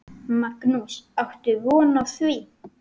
Magnús: Áttu von á því?